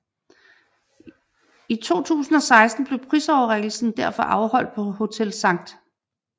I 2016 blev prisoverrækkelsen derfor afholdt på Hotel Skt